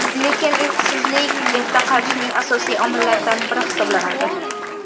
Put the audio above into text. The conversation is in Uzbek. Lekin uyqusizlik erta qarishning asosiy omillaridan biri hisoblanadi.